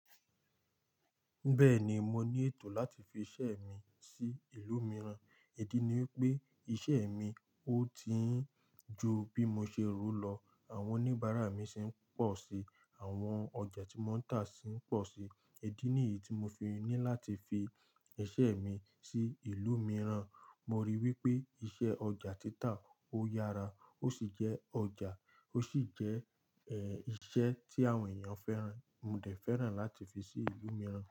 Bẹ́ẹ̀ni mo ní ètò láti fi iṣẹ́ mi sí ìlú mìràn ìdí ni wipé iṣẹ́ mi ó ti ń ju bí mo ṣe rù lọ. Àwọn oníbàárà mi sì ń pọ̀ sí, àwọn ọjà tí wọ́n ń tà sì ń pọ̀ sí. Èdínì yìí tí mo fi ní láti fi iṣẹ́ mi sí ìlú mìíràn. Mo rí wí pé iṣẹ́ ọjà títà ó yára. Ó sì jẹ́ ọjà, ó sì jẹ́ ẹ́ iṣẹ́ tí àwọn ènìyàn fẹ́ràn. Mo dẹ̀ fẹ́ràn láti fi sí ìlú mìíràn.